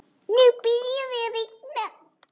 Nú byrjaði að rigna.